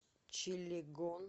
чилегон